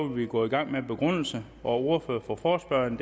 vi gå i gang med en begrundelse og ordfører for forespørgerne